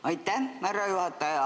Aitäh, härra juhataja!